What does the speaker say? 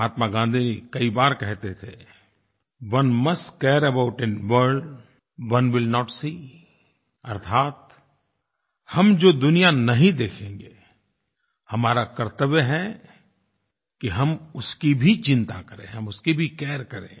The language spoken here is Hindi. महात्मा गाँधी जी कई बार कहते थे one must care about a world one will not see अर्थात् हम जो दुनिया नहीं देखेंगे हमारा कर्त्तव्य है कि हम उसकी भी चिंता करें हम उसकी भी केयर करें